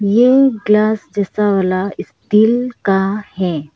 ये ग्लास शीशा वाला स्टील का है।